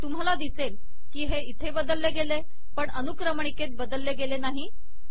तुम्हाला दिसेल की हे इथे बदलले गेले पण अनुक्रमणिकेत बदलले गेले नाही